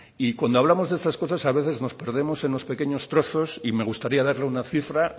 cuando hablamos de estas cosas a veces nos perdemos en los pequeños trozos y me gustaría darle una cifra